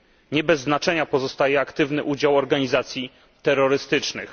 Nie bez znaczenia pozostaje aktywny udział organizacji terrorystycznych.